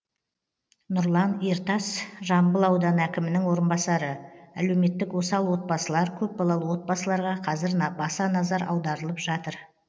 нұрлан ертас жамбыл ауданы әкімінің орынбасары әлеуметтік осал отбасылар көпбалалы отбасыларға қазір баса назар аударылып жатыр